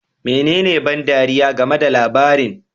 Menene ban ɗariya game da labarin?